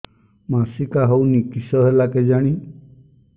ମାସିକା ହଉନି କିଶ ହେଲା କେଜାଣି